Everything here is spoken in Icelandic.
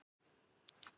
Nói er farinn.